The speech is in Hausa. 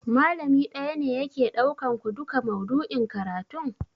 Malami ɗaya ne yake ɗaukan ku duka maudu'in karatun?